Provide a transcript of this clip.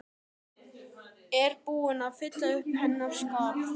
Er búið að fylla uppí hennar skarð?